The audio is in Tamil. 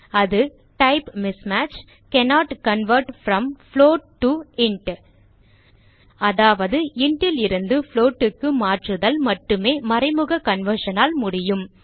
அது type mismatch cannot convert from float to int அதாவது int லிருந்து float க்கு மாற்றுதல் மட்டுமே மறைமுக conversion ஆல் முடியும்